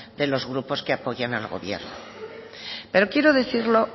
de los grupos que apoyan al gobierno pero quiero decirlo